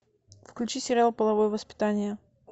включи сериал половое воспитание